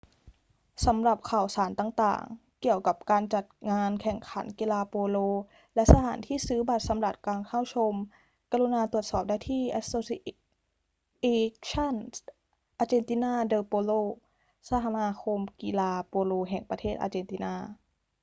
สำหรับข่าวสารต่าง ๆ เกี่ยวกับการจัดงานแข่งขันกีฬาโปโลและสถานที่ซื้อบัตรสำหรับการเข้าชม กรุณาตรวจสอบได้ที่ asociacion argentina de polo สมาคมกีฬาโปโลแห่งประเทศอาเจนตินา